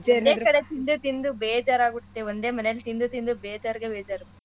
ಒಂದೇ ಕಡೆ ತಿಂದು ತಿಂದು ಬೇಜಾರ್ ಆಗುತ್ತೆ ಒಂದೇ ಮನೆಲಿ ತಿಂದು ತಿಂದು ಬೇಜಾರ್ಗೆ ಬೇಜಾರು.